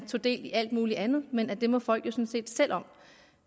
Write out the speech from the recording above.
tog del i alt muligt andet men også at det må folk jo sådan set selv om